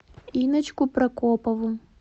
инночку прокопову